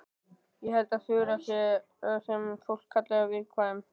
Ég held að Þura sé það sem fólk kallar viðkvæm.